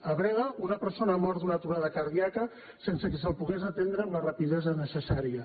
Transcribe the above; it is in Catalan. a breda una persona ha mort d’una aturada cardíaca sense que se la pogués atendre amb la rapidesa necessària